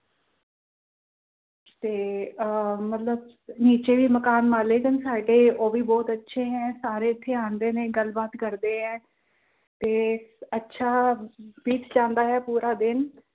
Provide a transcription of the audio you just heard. ਤੇ ਆਹ ਮਤਲਬ, ਜਿਹੜੇ ਮਕਾਨ ਮਾਲਕ ਹਨ ਸਾਡੇ ਉਹ ਵੀ ਅੱਛੇ ਏ ਸਾਰੇ ਇੱਥੇ ਆਂਦੇ ਨੇ ਗੱਲ ਬਾਤ ਕਰਦੇ ਆ। ਤੇ ਅੱਛਾ ਬੀਤ ਜਾਂਦਾ ਏ ਪੂਰਾ ਦਿਨ